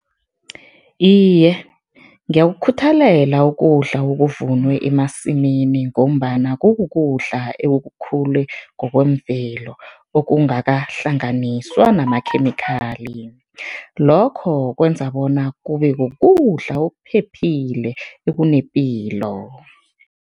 Iye, ngiyakukhuthelela ukudla okuvunwe emasimini ngombana kukudla ekukhule ngokwemvelo, okungakahlanganiswa namakhemikhali, lokho kwenza bona kube kukudla okuphephile, ekunepilo.